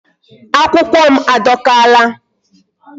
Akwukwo m adọkaala.